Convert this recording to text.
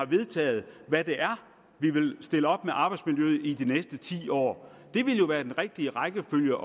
vedtaget hvad det er vi vil stille op med arbejdsmiljøet i de næste ti år det ville jo være den rigtige rækkefølge